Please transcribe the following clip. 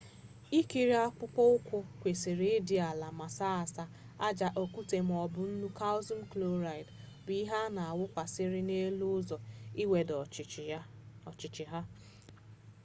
ikiri akpụkpọ ụkwụ kwesịrị ịdị ala ma saa asaa. aja okwute maọbụ nnu kalshium kloraịdị bụ ihe a na awụsakarị n'elu ụzọ iwedata ọchịchị ha